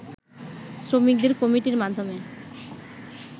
শ্রমিকদের কমিটির মাধ্যমে